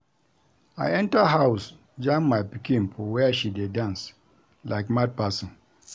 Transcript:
I enter house jam my pikin for where she dey dance like mad person